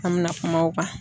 An mi na kuma o kan.